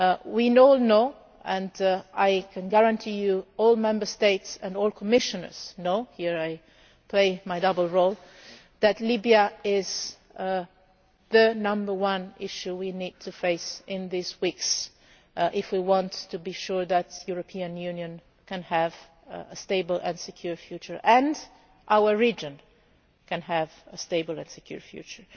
our borders. We all know, and I can guarantee you that all Member States and all Commissioners know here I am playing my dual role that Libya is the number one issue we need to face in these weeks if we want to be sure that the European Union can have a stable and secure future and that our region can have a stable and secure